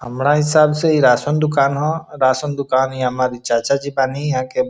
हमरा हिसाब से इ राशन दुकान ह राशन दुकान इ हमरे चाचा जी बानी यहां के ।